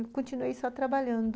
E continuei só trabalhando.